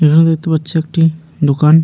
এখানে দেখতে পাচ্ছি একটি দোকান।